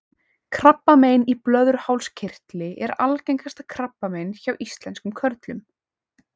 krabbamein í blöðruhálskirtli er algengasta krabbamein hjá íslenskum körlum